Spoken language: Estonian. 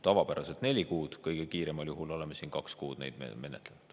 Tavapäraselt on neli kuud, kõige kiiremal juhul oleme siin kaks kuud seda menetlenud.